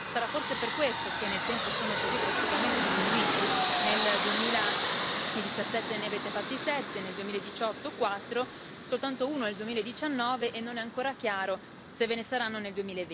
Sarà forse per questo che nel tempo sono così drasticamente diminuiti, nel 2017 ne avete fatti sette, nel 2018 quattro, soltanto uno nel 2019 e non è ancora chiaro se ve ne saranno nel